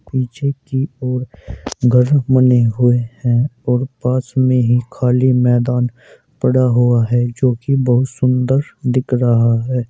पीछे की ओर घर बने हुए हैं और पास में ही खाली मैदान पड़ा हुआ है जो की बहुत सुंदर दिख रहा है।